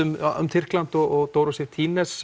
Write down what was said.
um um Tyrkland og Dóru Sif